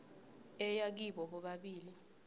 ebuya kibo bobabili